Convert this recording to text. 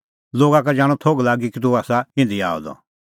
लोगा का जाणअ थोघ लागी कि तूह आसा इधी आअ द